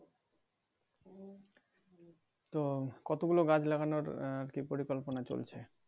তো কতগুলো গাছ লাগানোর আহ কি পরিকল্পনা চলছে ।